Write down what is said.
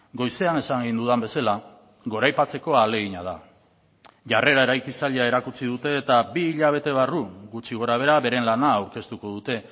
goizean esan egin dudan bezala goraipatzeko ahalegina da jarrera eraikitzailea erakutsi dute eta bi hilabete barru gutxi gora behera beren lana aurkeztuko dute